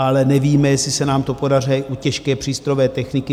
Ale nevíme, jestli se nám to podaří u těžké přístrojové techniky.